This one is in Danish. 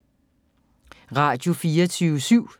Radio24syv